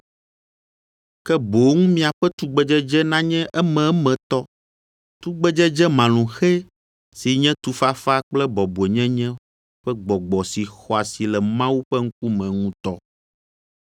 ke boŋ miaƒe tugbedzedze nanye ememetɔ, tugbedzedze malũxɛ si nye tufafa kple bɔbɔenyenye ƒe gbɔgbɔ si xɔ asi le Mawu ƒe ŋkume ŋutɔ.